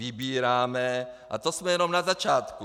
Vybíráme, a to jsme jenom na začátku.